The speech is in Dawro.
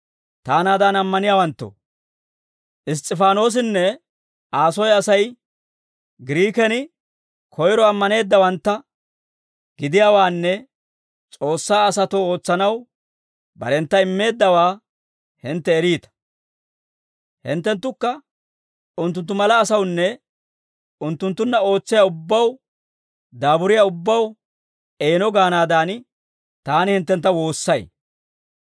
Taanaadan ammaniyaawanttoo, Iss's'ifaanoosinne Aa soy Asay Giriiken koyro ammaneeddawantta gidiyaawaanne S'oossaa asatoo ootsanaw barentta immeeddawaa hintte eriita. Hinttenttukka unttunttu mala asawunne, unttunttunna ootsiyaa ubbaw daaburiyaa ubbaw eeno gaanaadan, taani hinttentta woossay.